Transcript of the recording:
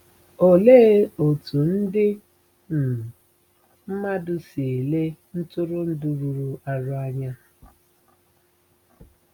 Olee otú ndị um mmadụ si ele ntụrụndụ rụrụ arụ anya?